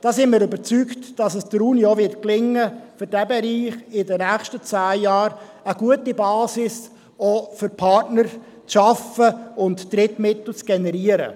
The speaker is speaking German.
Da sind wir überzeugt, dass es der Universität denn auch gelingen wird, für diesen Bereich in den zehn Jahren eine gute Basis zu schaffen, auch für Partner, und Drittmittel zu generieren.